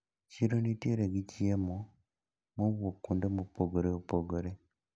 Chiro nitiere gi chiemo mowuok kuonde maopogre opogre.